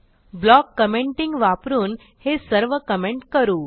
block commenting वापरून हे सर्व कमेंट करू